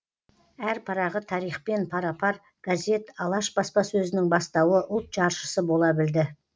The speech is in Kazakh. әр парағы тарихпен пара пар газет алаш баспасөзінің бастауы ұлт жаршысы бола білді